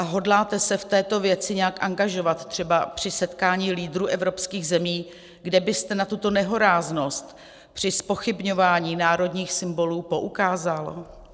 A hodláte se v této věci nějak angažovat třeba při setkání lídrů evropských zemí, kde byste na tuto nehoráznost při zpochybňování národních symbolů poukázal?